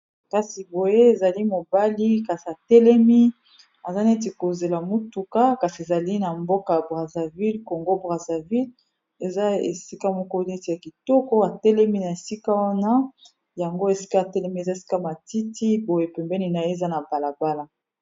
kasi boye ezali mobali kasi atelemi aza neti kozela motuka kasi ezali na mboka braserville congo braserville eza esika moko neti ya kitoko atelemi na esika wana yango esika atelemi eza esika matiti boye pembeni na ye eza na balabala